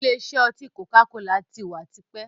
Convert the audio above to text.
Ìlé isẹ́ oti koka-kola tí wá tipẹ́.